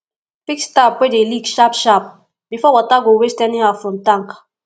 fix tap wey dey leak sharp sharp bifor water go waste anyhow from tank